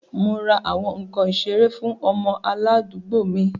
Mo ra awọn nkan isere fun ọmọ aladuugbo mi